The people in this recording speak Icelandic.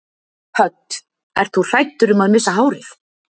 Hödd: Ert þú hræddur um að missa hárið?